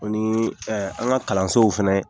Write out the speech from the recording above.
O nii ɛ an ka kalansow fɛnɛ